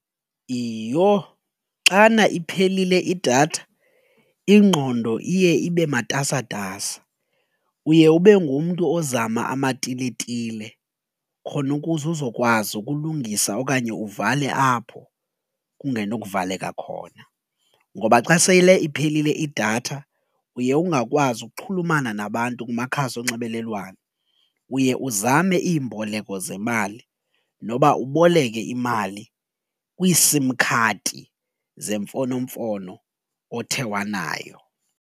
Iyho xana iphelile idatha ingqondo iye ibe matasatasa uye ube ngumntu ozama amatiletile khona ukuze uzokwazi ukulungisa okanye uvale apho kungenokuvaleka khona ngoba xa sele iphelile idatha uye ungakwazi ukuxhulumana nabantu kumakhasi onxibelelwano, uye uzame iimboleko zemali noba uboleke imali kwii-sim khadi zemfonomfono othe wanayo.